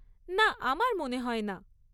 না, আমার মনে হয় না।